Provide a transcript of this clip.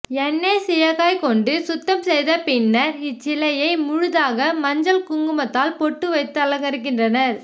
எண்ணெய் சீயக்காய் கொண்டு சுத்தம் செய்த பின்னர் இச்சிலையை முழுதாக மஞ்சள் குங்குமத்தால் பொட்டு வைத்து அலங்கரிக்கின்றனர்